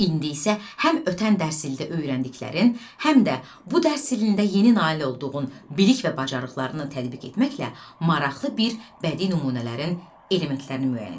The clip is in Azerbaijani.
İndi isə həm ötən dərs ilində öyrəndiklərin, həm də bu dərs ilində yeni nail olduğun bilik və bacarıqlarını tətbiq etməklə maraqlı bir bədii nümunələrin elementlərini müəyyən edəcəksən.